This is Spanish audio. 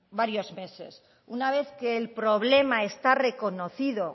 varios meses una vez que el problema está reconocido